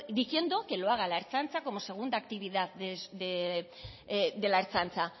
diciendo que lo haga la ertzaintza como segunda actividad de la ertzaintza